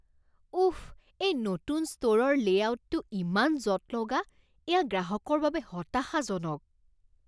উফ, এই নতুন ষ্টোৰৰ লে'আউটটো ইমান জঁট লগা। এইয়া গ্ৰাহকৰ বাবে হতাশাজনক।